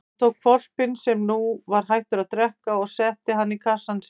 Hann tók hvolpinn sem nú var hættur að drekka og setti hann í kassann sinn.